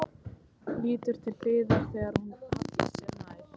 Lítur til hliðar þegar hún hallar sér nær.